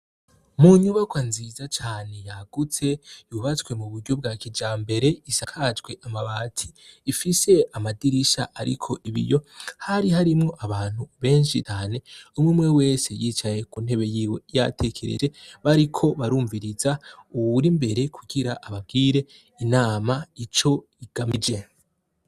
Mu nyubakwa nziza cane yagutse yubatswe mu buryo bwa kijambere isakajwe amabati ifise amadirisha ariko ibiyo hari harimwo abantu benshi cane umwe wese yicaye ku ntebe yiwe yatekereje bariko barumviriza uwur'imbere kugira ababwire inama ico igamije.